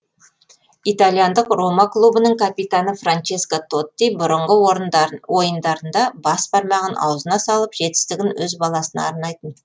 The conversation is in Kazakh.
итальяндық рома клубының капитаны франческо тотти бұрынғы ойындарында бас бармағын аузына салып жетістігін өз баласына арнайтын